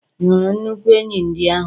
Ị hụrụ nnukwu enyí ndị ahụ?